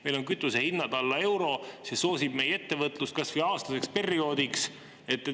Meil on kütuse hinnad alla euro, see soosib meie ettevõtlust kas või aastaseks perioodiks.